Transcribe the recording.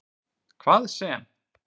Hvað sem